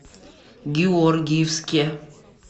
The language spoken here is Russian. георгиевске